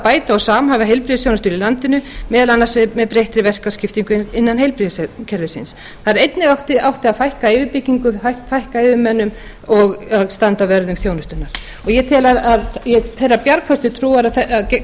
bæta og samhæfa heilbrigðisþjónustuna í landinu meðal annars með breyttri verkaskiptingu innan heilbrigðiskerfisins einnig átti að draga úr yfirbyggingu fækka yfirmönnum og standa vörð um þjónustuna ég hef þá bjargföstu trú að